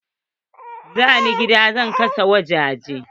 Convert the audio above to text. Zanen gidan zai kasance ta kasan waje ce.